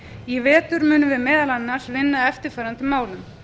í vetur munum við meðal annars vinna að eftirfarandi málum